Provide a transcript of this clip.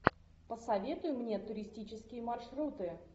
посоветуй мне туристические маршруты